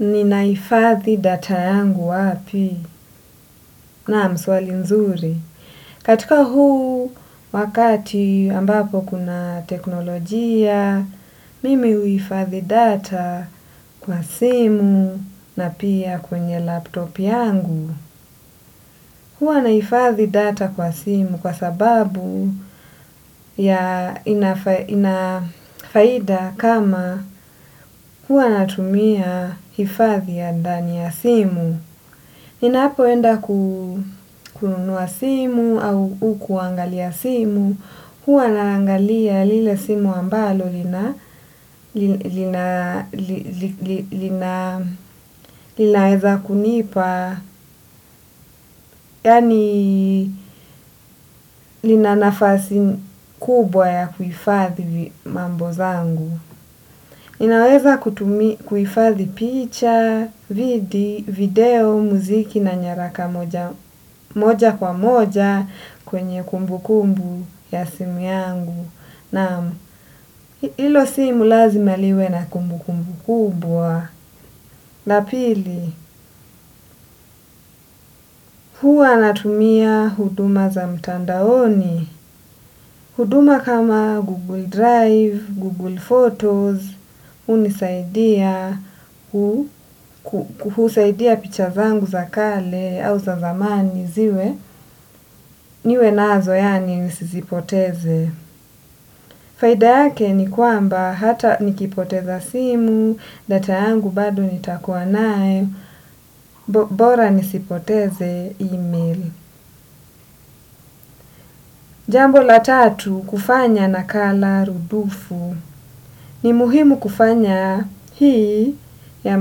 Ninahifadhi data yangu wapi naam swali nzuri. Katika huu wakati ambapo kuna teknolojia, mimi huhifadhi data kwa simu na pia kwenye laptop yangu. Huwa nahifadhi data kwa simu kwa sababu ya ina faida kama huwa natumia hifadhi ya dani ya simu. Ninapoenda kunua simu au kuangalia simu, huwa naangalia lile simu ambalo linaweza kunipa, yaani lina nafasi kubwa ya kuhifadhi mambo zangu. Inaweza kutumi kuhifadhi picha, vidi, video, muziki na nyaraka moja kwa moja kwenye kumbu kumbu ya simu yangu. Naam hilo simu lazima liwe na kumbukumbu kubwa. Na pili, huwa natumia huduma za mtandaoni. Huduma kama Google Drive, Google Photos, hunisaidia husaidia picha zangu za kale au za zamani ziwe, niwe nazo yaani nisizipoteze. Faida yake ni kwamba hata nikipoteza simu, data yangu bado nitakuwa naye, bora nisipoteze email. Jambo la tatu kufanya nakala rudufu ni muhimu kufanya hii ya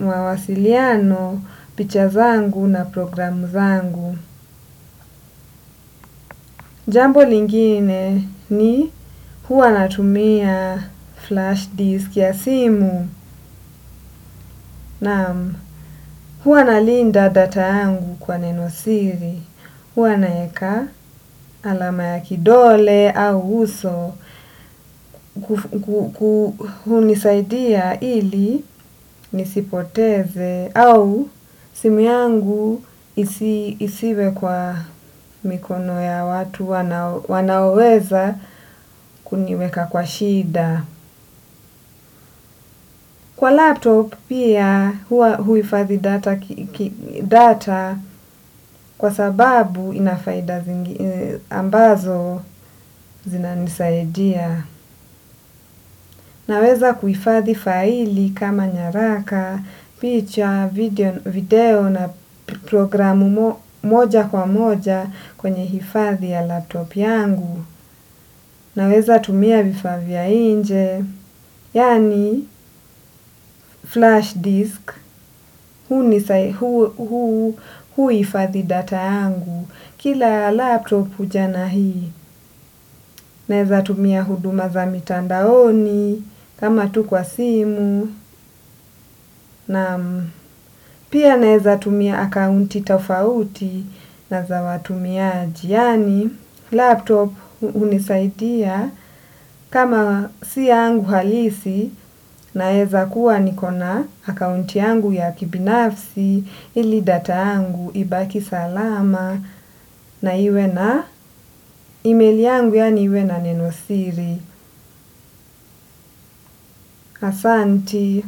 mawasiliano, picha zangu na programu zangu. Jambo lingine ni huwa natumia flash disk ya simu, na huwa nalinda data yangu kwa nenosiri. Huwa naeka alama ya kidole au uso kunisaidia ili nisipoteze au simu yangu isiwe kwa mikono ya watu wanaoweza kuniweka kwa shida. Kwa laptop pia huwa huhifadhi data kwa sababu ina faida ambazo zinanisaidia. Naweza kuhifadhi faili kama nyaraka, picha, video na programu moja kwa moja kwenye hifadhi ya laptop yangu. Naweza tumia vifaa vya nje, yaani flash disk, huhifadhi data yangu. Kila laptop huja na hii, naweza tumia huduma za mitandaoni, kama tu kwa simu, naam. Pia naeza tumia akaunti tofauti na za watumiaji. Yaani laptop hunisaidia kama si yangu halisi naeza kuwa niko na account yangu ya kibinafsi ili data yangu ibaki salama na iwe na email yangu yaani iwe na nenosiri. Asanti.